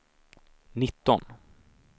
nitton